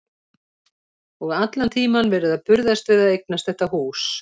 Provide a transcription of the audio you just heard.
Og allan tímann verið að burðast við að eignast þetta hús.